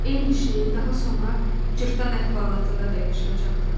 Eyni şeyi daha sonra cırtdan əhvalatında da yaşayacaqdım.